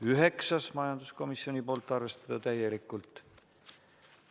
Üheksas ettepanek, majanduskomisjonilt, seisukoht: arvestada täielikult.